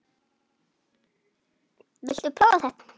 Viltu prófa þetta?